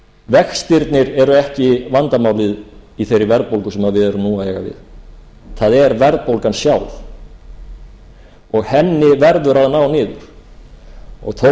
vextirnir eru ekki vandamálið í þeirri verðbólgu sem við erum nú að eiga við það er verðbólgan sjálf og henni verður að ná niður þó að við séum í